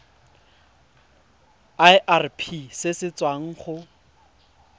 irp se se tswang go